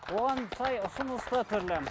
оған сай ұсыныста түрлі